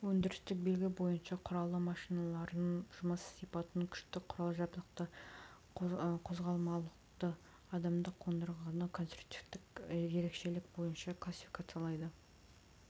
өндірістік белгі бойынша құралы машиналарын жұмыс сипатын күштік құрал-жабдықты қозғалмалылықты адымдық қондырғыны конструктивтік ерекшелік бойынша классификациялайды